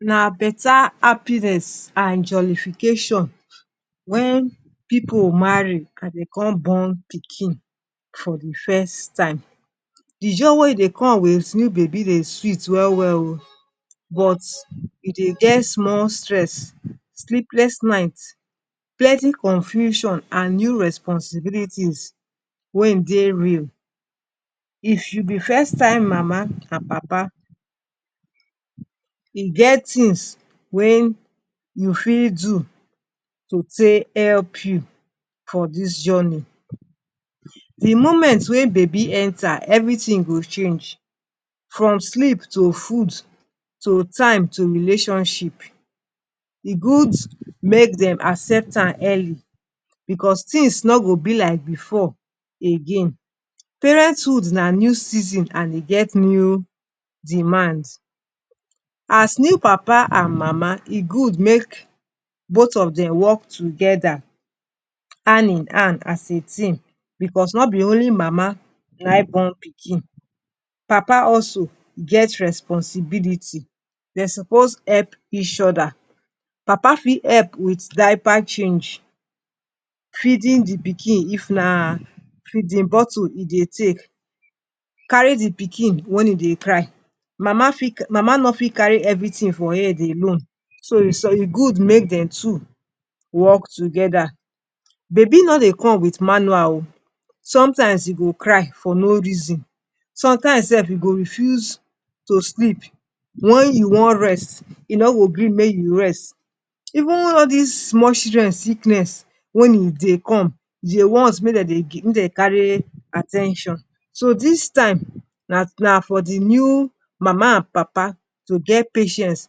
Na beta happiness and joyification wen pipu marry and dey con born pikin for the first time. The joy wey e dey come with new baby dey sweet well well oh! But, e dey get small stress sleepless nights, plenty confusion, and new responsibilities wey e dey real. If you be first time Mama and Papa, e get things wey you fit do to take help you for dis journey. The moment wey babi enter, everything go change from sleep to food to time to relationship. E good make dem accept am early because things no go be like before again. Parenthood na new season and e get new demand. As new Papa and Mama, e good make both of dem work together, hand in hand as a team because no be only Mama nayin born pikin. Papa also get responsibilities. Dem suppose help each other. Papa fit help with diaper change, feeding the pikin if na feeding bottle e dey take, carry the pikin when e dey cry. Mama no fit carry everything for head alone. So, e good make them two work together. Babi no dey come with manual oh! Sometimes e go cry for no reason. Sometimes sef e go refuse to sleep. When you wan rest, e no go gree make you rest. Even all these small children sickness, when e dey come, e dey want make dem dey carry at ten tion. So, dis time na for the new Mama and Papa to get patience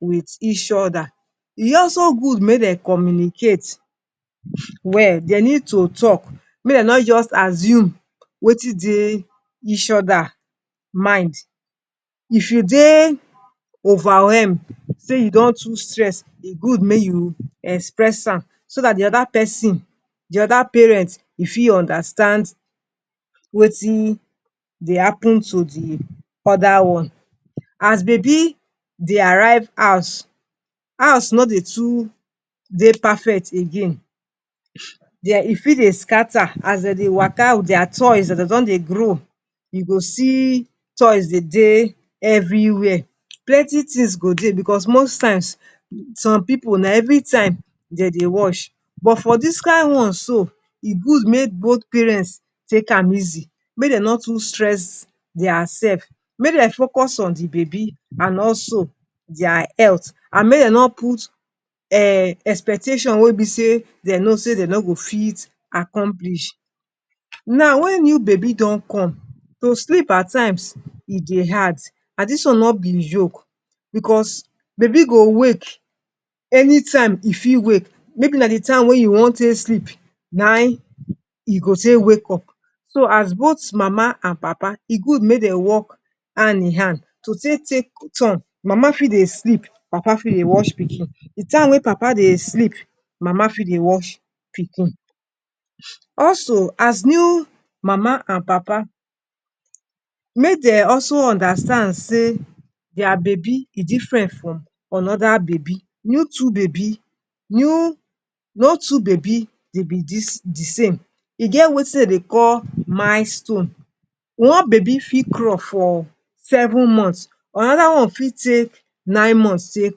with each other. E also good make dem communicate well. Dey need to talk. Make dem no just assume wetin dey each other mind. If you dey overwhelmed say you don too stress, e good make you express am. So dat the other pesin the other parent e fit understand wetin dey happen to the other one. As Babi dey arrive house, house no dey too dey perfect again. E fit dey scatter as dey dey waka with their toys as dey don dey grow. You go see toys dey everywhere. Plenty things go dey because most times, some pipu na everytime dey wash. But for dis kin one so, e good make both parents take am easy. Make dem no too stress dir selves. Make dem focus on the babi and also their health. And make dem no put eh expectations wey dem know say dem no go fit accomplish. Now, when new babi don come, to sleep at times e dey hard. And dis one no be joke because babi go wake anytime e fit wake maybe na time you wan sleep nayin e go take wake up. So, as both Mama and Papa, e good make dem work hand in hand to take turn. Mama fit dey sleep, Papa fit dey watch pikin. The time wey Papa dey sleep, Mama fit dey watch pikin. Also, as new Mama and Papa, make dem also understand say their babi e different from another babi. No two babi be the same. E get wetin dey dey call milestone. One babi fit crawl for seven months, another one fit take nine months take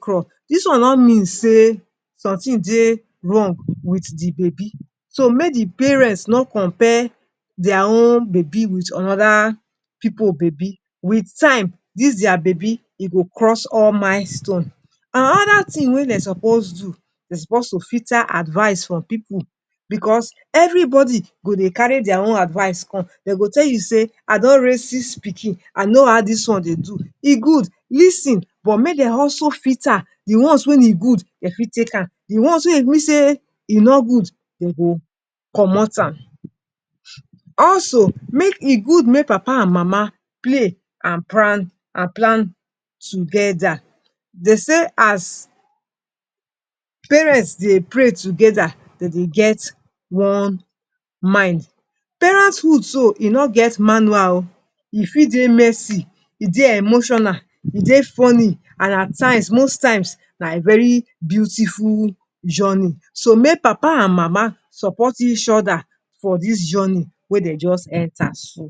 crawl. Dis one no mean say something dey wrong with the babi. So make the parents no compare their own babi with another pipu babi. With time, dis their babi go cross all milestones. Another thing wey dem suppose do dem suppose filter advice from pipu because everybody go dey carry their own advice come. Dey go tell you say, I don raise six pikin, I know how dis one dey do. E good, lis ten. But make dem also filter the ones wey e good dem fit take am. The ones wey be say dem no good, dem go comot am. Also, e good make Papa and Mama pray and plan together. Dey say, as parents dey pray together, dey dey get one mind. Parenthood so e no get manual oh! E fit dey messy, e dey emotional, e dey funny and at times most times na very beautiful journey. So make Papa and Mama support each other for dis journey wey dey just enter so.